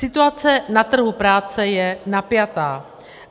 Situace na trhu práce je napjatá.